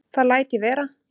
Það læt ég vera